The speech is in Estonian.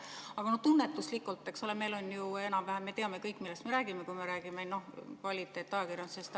Aga tunnetuslikult, eks ole, me teame kõik, millest me räägime, kui me räägime kvaliteetajakirjandusest.